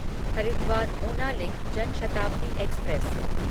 Haridwar Una link Janshatabdi express